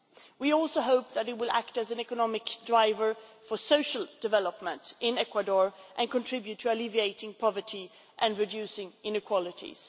We also hope that it will act as an economic driver for social development in Ecuador and contribute to alleviating poverty and reducing inequalities.